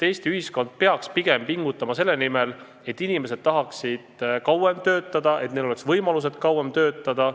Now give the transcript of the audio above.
Eesti ühiskond peaks pigem pingutama selle nimel, et inimesed tahaksid kauem töötada ja et neil oleks võimalused kauem töötada.